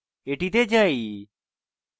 এটিতে যাই